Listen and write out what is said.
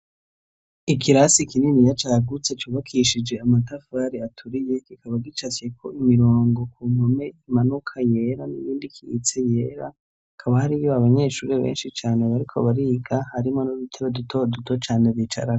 Ikirasi kininiya cagutse cubakishije amatafari aturiye kikaba gicafyeko imirongo k'uruhome imanuka yera, n'iyindi ikiitse yera. Hakaba hariyo abanyeshuri benshi cane bariko bariga harimwo n'udutebe duto duto cane bicarako.